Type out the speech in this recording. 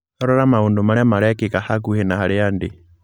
Rora maũndũ marĩa marekĩka hakuhĩ na harĩa ndĩ